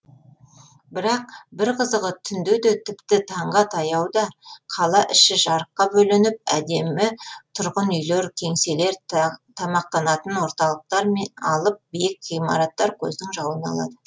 бірақ бір қызығы түндеде тіпті таңға таяуда қала іші жарыққа бөленіп әдемі тұрғын үйлер кеңселер тамақтанатын орталықтар мен алып биік ғимараттар көздің жауын алады